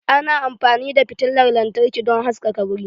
Ana amfani da fitilan lantarki don haskaka wuri.